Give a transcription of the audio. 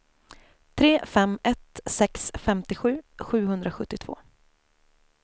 tre fem ett sex femtiosju sjuhundrasjuttiotvå